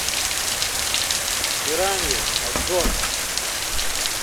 пираньи обзор